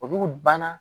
Olu kun banna